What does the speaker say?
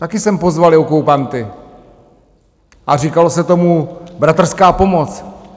Taky sem pozvali okupanty a říkalo se tomu bratrská pomoc.